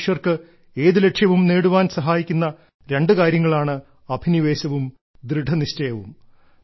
മനുഷ്യർക്ക് ഏതു ലക്ഷ്യവും നേടുവാൻ സഹായിക്കുന്ന രണ്ടു കാര്യങ്ങളാണ് അഭിനിവേശവും ദൃഢനിശ്ചയവും